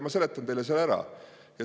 Ma seletan teile selle ära.